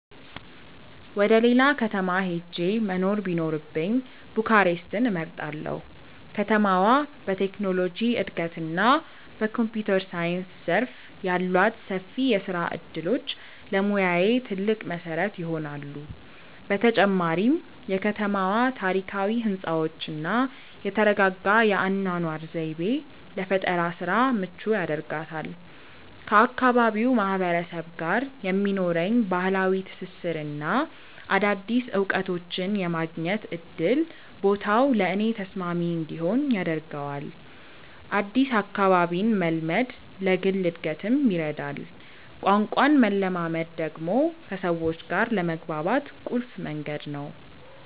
ወደ ሌላ ከተማ ሄጄ መኖር ቢኖርብኝ ቡካሬስትን እመርጣለሁ። ከተማዋ በቴክኖሎጂ እድገትና በኮምፒውተር ሳይንስ ዘርፍ ያሏት ሰፊ የስራ እድሎች ለሙያዬ ትልቅ መሰረት ይሆናሉ። በተጨማሪም የከተማዋ ታሪካዊ ህንፃዎችና የተረጋጋ የአኗኗር ዘይቤ ለፈጠራ ስራ ምቹ ያደርጋታል። ከአካባቢው ማህበረሰብ ጋር የሚኖረኝ ባህላዊ ትስስርና አዳዲስ እውቀቶችን የማግኘት እድል ቦታው ለእኔ ተስማሚ እንዲሆን ያደርገዋል። አዲስ አካባቢን መልመድ ለግል እድገትም ይረዳል። ቋንቋን መለማመድ ደግሞ ከሰዎች ጋር ለመግባባት ቁልፍ መንገድ ነው።